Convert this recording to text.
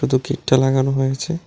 গেটটা লাগানো হয়েছে।